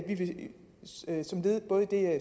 i det